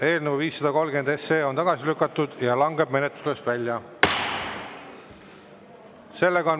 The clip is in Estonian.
Eelnõu 530 on tagasi lükatud ja langeb menetlusest välja.